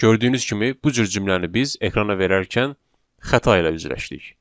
Gördüyünüz kimi bu cür cümləni biz ekrana verərkən xəta ilə üzləşdik.